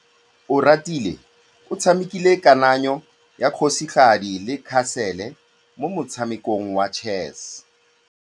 Oratile o tshamekile kananyô ya kgosigadi le khasêlê mo motshamekong wa chess.